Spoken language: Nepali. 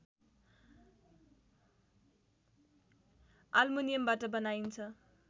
आल्मुनियमबाट बनाइन्छ